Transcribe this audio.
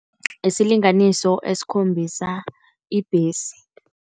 Isilinganiso esikhombisa ibhesi.